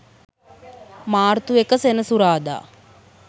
මාර්තු 01 සෙනසුරාදා